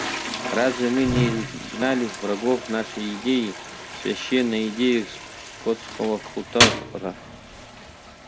разве мы не изгнали врагов нашей идеи священной идеи скотского хутора